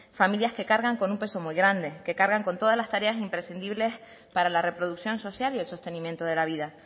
familias que cargan con un peso muy grande que cargan con todas las tareas imprescindibles para la reproducción social y el sostenimiento de la vida